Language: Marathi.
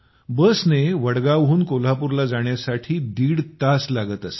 बसने वडगावहून कोल्हापूरला जाण्यासाठी दीड तास लागत असे